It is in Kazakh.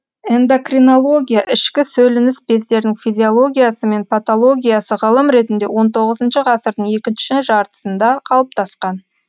эндокринология ішкі сөлініс бездердің физиологиясы мен патологиясы ғылым ретінде он тоғызыншы ғасырдың екінші жартысында қалыптасқан